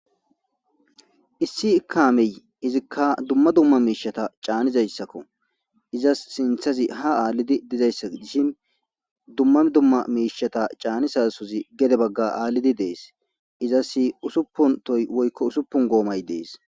Issi kaamey izikka dumma dumma miishata caanizayssakko izasi sinthazi ha aallidi dizayssa gidishi dumma dumma miishata caanisasozi gede bagga aallidi dees; izasi usuppuntoy woykko usuppun goomay dees.